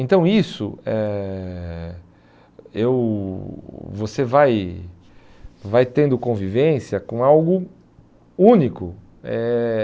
Então isso, eh eu você vai vai tendo convivência com algo único. Eh